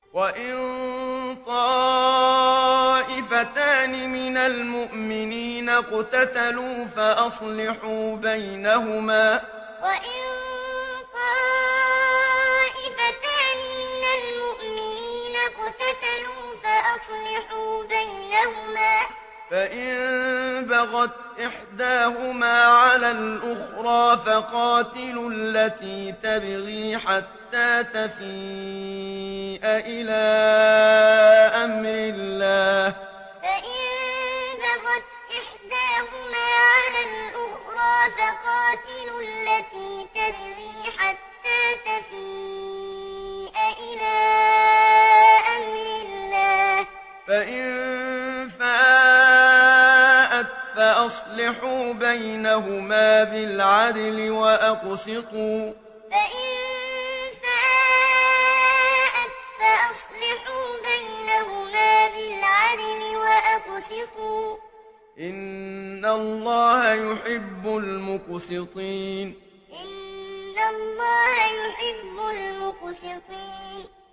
وَإِن طَائِفَتَانِ مِنَ الْمُؤْمِنِينَ اقْتَتَلُوا فَأَصْلِحُوا بَيْنَهُمَا ۖ فَإِن بَغَتْ إِحْدَاهُمَا عَلَى الْأُخْرَىٰ فَقَاتِلُوا الَّتِي تَبْغِي حَتَّىٰ تَفِيءَ إِلَىٰ أَمْرِ اللَّهِ ۚ فَإِن فَاءَتْ فَأَصْلِحُوا بَيْنَهُمَا بِالْعَدْلِ وَأَقْسِطُوا ۖ إِنَّ اللَّهَ يُحِبُّ الْمُقْسِطِينَ وَإِن طَائِفَتَانِ مِنَ الْمُؤْمِنِينَ اقْتَتَلُوا فَأَصْلِحُوا بَيْنَهُمَا ۖ فَإِن بَغَتْ إِحْدَاهُمَا عَلَى الْأُخْرَىٰ فَقَاتِلُوا الَّتِي تَبْغِي حَتَّىٰ تَفِيءَ إِلَىٰ أَمْرِ اللَّهِ ۚ فَإِن فَاءَتْ فَأَصْلِحُوا بَيْنَهُمَا بِالْعَدْلِ وَأَقْسِطُوا ۖ إِنَّ اللَّهَ يُحِبُّ الْمُقْسِطِينَ